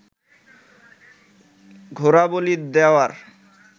ঘোড়া বলি দেওয়ার